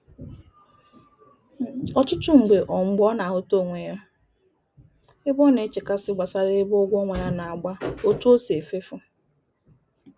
Ọtụtụ mgbe ọ mgbe ọ na-ahụta onwe ya ebe ọ na-echekasị gbasara ebe ụgwọ ọnwa ya na-agba, otu o sị efefu.